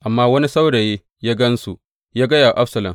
Amma wani saurayi ya gan su, ya gaya wa Absalom.